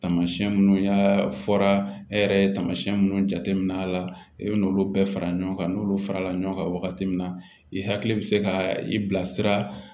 Taamasiyɛn minnu y'a fɔra e yɛrɛ ye tamasiyɛn minnu jateminɛ a la i bɛn'olu bɛɛ fara ɲɔgɔn kan n'olu farala ɲɔgɔn kan wagati min na i hakili bɛ se ka i bila sira